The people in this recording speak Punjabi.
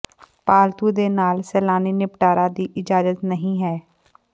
ਪਾਲਤੂ ਦੇ ਨਾਲ ਸੈਲਾਨੀ ਨਿਪਟਾਰਾ ਦੀ ਇਜਾਜ਼ਤ ਨਹੀ ਹੈ